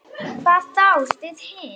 Hvað þá þið hin.